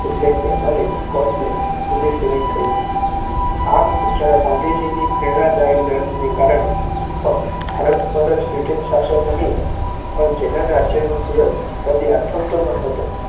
એટલેકે અને સ્કોટલેન્ડ સુધી સીમિત થઈ ગયો. આમ ગુજરાત ગાંધીજીની પ્રેરણાદાયી લડતને કારણે ફક્ત ભારત પર બ્રિટીશ શાસન જ નહીં, પણ જેના રાજ્યનો સૂરજ કદી આથમતો નહોતો